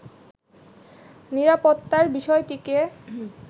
নিরাপত্তার বিষয়টিকে